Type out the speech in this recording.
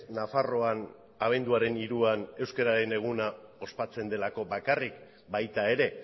nafarroan abenduaren hiruan euskararen eguna ospatzen delako bakarrik baita ere